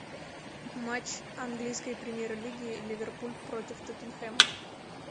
матч английской премьер лиги ливерпуль против тоттенхэма